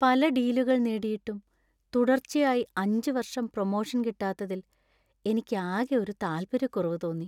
പല ഡീലുകൾ നേടിയിട്ടും തുടർച്ചയായി അഞ്ച് വർഷം പ്രമോഷൻ കിട്ടാത്തതിൽ എനിക്ക് ആകെ ഒരു താൽപര്യക്കുറവ് തോന്നി.